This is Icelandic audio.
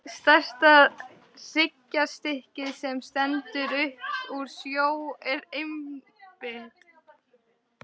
Stærsta hryggjarstykkið, sem stendur upp úr sjó, er einmitt